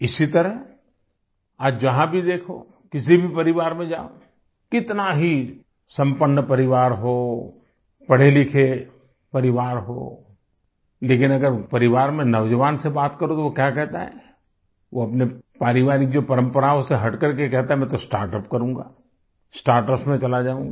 इसी तरह आज जहां भी देखो किसी भी परिवार में जाओ कितना ही संपन्न परिवार हो पढ़ेलिखे परिवार हो लेकिन अगर परिवार में नौजवान से बात करो तो वो क्या कहता है वो अपने पारिवारिक जो परम्पराओं से हटकर के कहता है मैं तो स्टार्टअप करूंगा स्टार्टअप्स में चला जाऊँगा